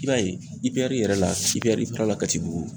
I b'a ye ipeyɛri yɛrɛ la ipeyɛri ifara la katibugu